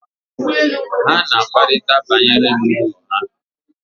ha na-akparịta banyere m n’ụlọ ha